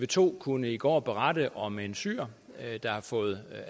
to kunne i går berette om en syrer der har fået